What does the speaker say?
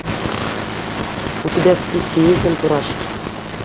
у тебя в списке есть антураж